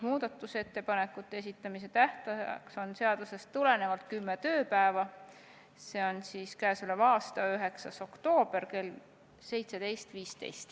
Muudatusettepanekute esitamise tähtajaks on seadusest tulenevalt kümme tööpäeva, see on k.a 9. oktoober kell 17.15.